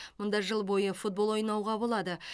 мұнда жыл бойы футбол ойнауға болады